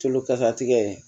Tulo kasatigɛ